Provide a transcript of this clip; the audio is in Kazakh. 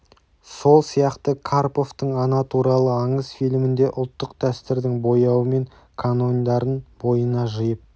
сол сияқты карповтың ана туралы аңыз фильмінде ұлттық дәстүрдің бояуы мен канондарын бойына жиып